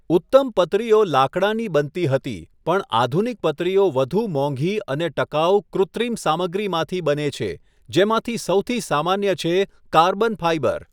ઉત્તમ પતરીઓ લાકડાની બનતી હતી પણ આધુનિક પતરીઓ વધુ મોંઘી અને ટકાઉ કૃત્રિમ સામગ્રીમાંથી બને છે, જેમાંથી સૌથી સામાન્ય છે કાર્બન ફાઇબર.